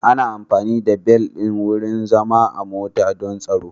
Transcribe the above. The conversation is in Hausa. Ana amfani da bel ɗin wurin zama a mota don tsaro.